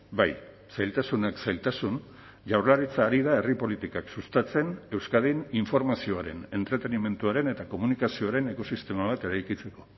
bai zailtasunak zailtasun jaurlaritza ari da herri politikak sustatzen euskadin informazioaren entretenimenduaren eta komunikazioaren ekosistema bat eraikitzeko